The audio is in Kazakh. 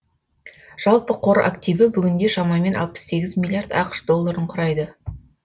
жалпы қор активі бүгінде шамамен алпыс сегіз миллиард ақш долларын құрайды